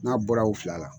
N'a bɔra u fila la